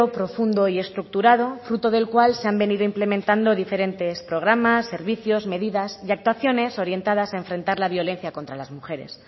profundo y estructurado fruto del cual se han venido implementando diferentes programas servicios medidas y actuaciones orientadas a enfrentar la violencia contra las mujeres